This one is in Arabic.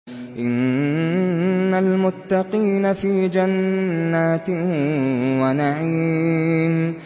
إِنَّ الْمُتَّقِينَ فِي جَنَّاتٍ وَنَعِيمٍ